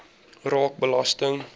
raak belasting